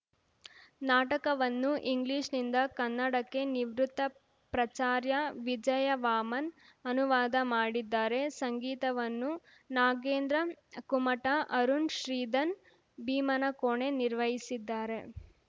ನಾಟಕವನ್ನು ಇಂಗ್ಲೀಷ್‌ನಿಂದ ಕನ್ನಡಕ್ಕೆ ನಿವೃತ್ತ ಪ್ರಚಾರ್ಯ ವಿಜಯವಾಮನ್‌ ಅನುವಾದ ಮಾಡಿದ್ದಾರೆ ಸಂಗೀತವನ್ನು ನಾಗೇಂದ್ರ ಕುಮಟ ಅರುಣ್‌ ಶ್ರೀಧನ್‌ ಭೀಮನಕೋಣೆ ನಿರ್ವಹಿಸಿದ್ದಾರೆ